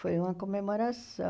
Foi uma comemoração.